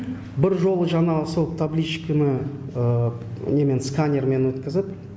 бір жолы жанағы сол табличканы немен сканермен өткізіп